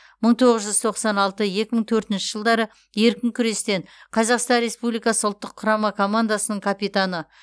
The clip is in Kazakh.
мың тоғыз жүз тоқсан алты екі мың төртінші жылдары еркін күрестен қазақстан республикасы ұлттық құрама командасының капитаны